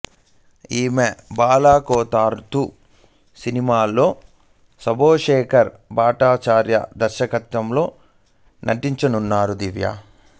ఆయే బలా కో తాల్ తు సినిమాలో శుభో శేఖర్ భట్టాచార్య దర్శకత్వంలో నటించనున్నారు దివ్య